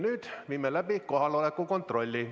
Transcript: Nüüd viime läbi kohaloleku kontrolli.